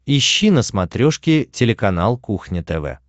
ищи на смотрешке телеканал кухня тв